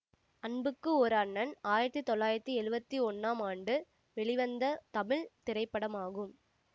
அன்புக்கு ஒரு அண்ணன் ஆயிரத்தி தொள்ளாயிரத்தி எழுவத்தி ஒன்னாம் ஆண்டு வெளிவந்த தமிழ் திரைப்படமாகும்